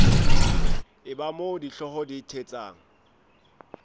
eba moo dihlooho di thetsang